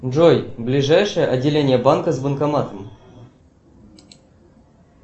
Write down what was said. джой ближайшее отделение банка с банкоматом